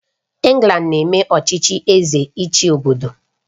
England na-eme ọchịchị Eze ịchị obodo